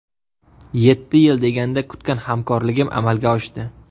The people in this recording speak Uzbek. Yetti yil deganda kutgan hamkorligim amalga oshdi.